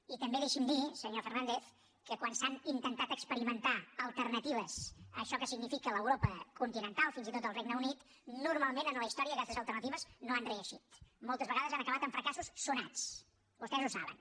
i també deixi’m dir senyor fernàndez que quan s’han intentat experimentar alternatives a això que significa l’europa continental fins i tot el regne unit normalment en la història aquestes alternatives no han reeixit moltes vegades han acabat amb fracassos sonats vostès ho saben